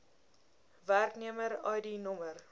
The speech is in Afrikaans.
werknemer id nr